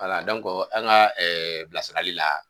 Wala an ŋa bilasirali la